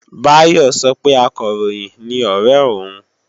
Báyọ̀ sọ pé Akọ̀ròyìn ni ọ̀ré òun